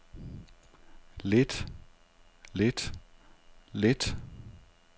lidt lidt lidt